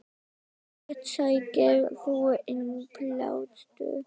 Hvert sækir þú innblástur?